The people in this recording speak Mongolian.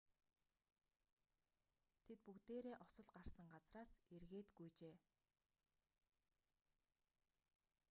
тэд бүгдээрээ осол гарсан газраас эргээд гүйжээ